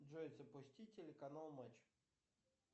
джой запусти телеканал матч